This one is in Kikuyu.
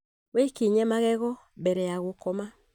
Wĩkiinye magego mbere ya gũkoma